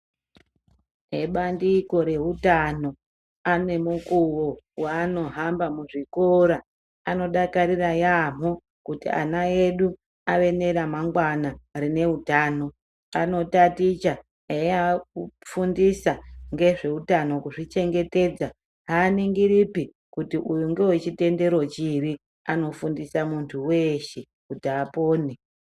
Ebandiko reutano anemukuwo waanohamba muzvikora anodakarira yaamho kuti ana edu ave nera mangwana rine hutano. Kanotaticha eya kufundisa ngezvehutano kuzvi chengetedza haningiripi kuti uyu ndevechitendero chipi anofundisa muntu veshe kuti apone.